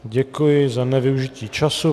Děkuji za nevyužití času.